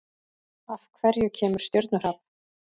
Af hverju kemur stjörnuhrap?